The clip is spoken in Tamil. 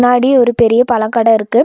முன்னாடி ஒரு பெரிய பழக்கட இருக்கு.